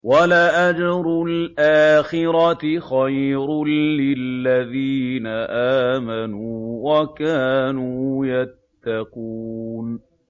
وَلَأَجْرُ الْآخِرَةِ خَيْرٌ لِّلَّذِينَ آمَنُوا وَكَانُوا يَتَّقُونَ